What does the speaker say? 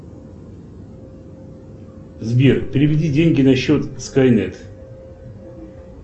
сбер переведи деньги на счет скайнет